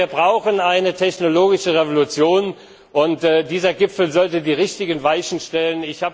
Also ich glaube, wir brauchen eine technologische Revolution, und dieser Gipfel sollte die richtigen Weichen stellen.